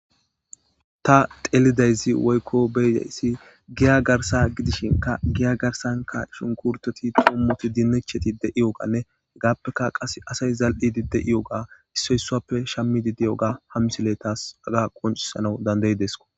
ta telidayzi woykko beydayssi giya garsa gidishinka giya garsanka shunkurteti xommoti dinecheti de7iyoganne gaappeka qas asay zal7idi de7iyoga issoysappe shammidi diyoga hammisiley taas aga qoncisana dandayi desko